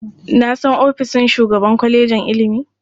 Na san ofishin shugaban kwalejin ilimi.